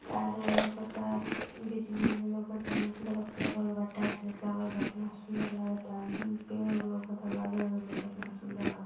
तार वोर लउकता बा बिजली विजली लउकता हेने बल्ब वलफ लगल बा टाइल्स वाइल्स लागल बा। केतना सुंदर लागता उ पेड़ ओड़ लउकता बादल-वादल लउकता एतना सुन्दर लाग --